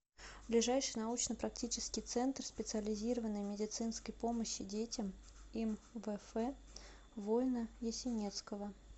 ближайший научно практический центр специализированной медицинской помощи детям им вф войно ясенецкого